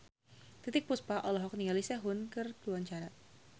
Titiek Puspa olohok ningali Sehun keur diwawancara